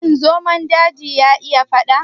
Shin zomon daji ya iya gudu?